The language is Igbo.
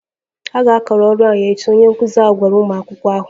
A ga-akara ọrụ a echi, onye nkụzi ahụ gwara ụmụ akwụkwọ ahụ